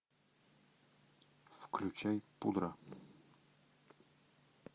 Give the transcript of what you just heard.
включай пудра